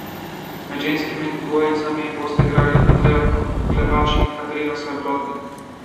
Med ženskimi dvojicami bosta igrali Andreja Klepač in Katarina Srebotnik.